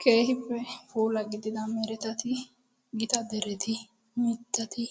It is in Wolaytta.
Keehippe puula gidida meretettati gita deretti, mitatti